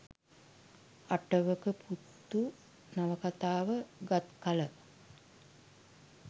අටවක පුත්තු නවකතාව ගත් කල